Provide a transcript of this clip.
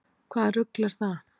Hvaða rugl er það?